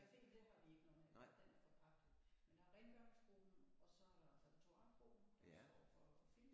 Caféen det har vi ikke noget med at gøre den er forpagtet men der er rengøringsgruppen og så repertoiregruppen der står for film